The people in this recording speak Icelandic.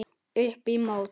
Upp í mót.